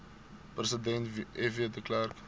president fw de